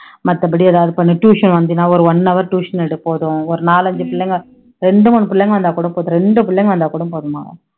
மத்தபடி எதாவது பண்ணு tuition வந்தீன்னா ஒரு one hour tuition எடு போதும் ஒரு நாலைஞ்சு புள்ளைங்க ரெண்டு மூணு புள்ளைங்க வந்தா கூட போதும் ரெண்டு புள்ளைங்க வந்தா கூட போதும் மகா